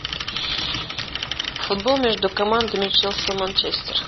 футбол между командами челси манчестер